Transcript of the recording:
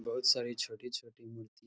बहोत सारी छोटी-छोटी मू --